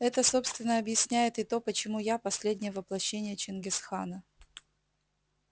это собственно объясняет и то почему я последнее воплощение чингис хана